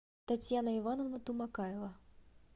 татьяна ивановна тумакаева